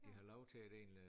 At de har lov til at én øh